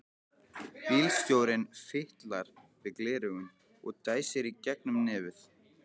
Bílstjórinn fitlar við gleraugun og dæsir í gegnum nefið.